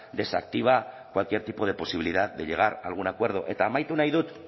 desactiva cualquier tipo de posibilidad de llegar a algún acuerdo eta amaitu nahi dut